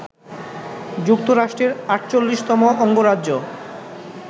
যুক্তরাষ্ট্রের ৪৮তম অঙ্গরাজ্য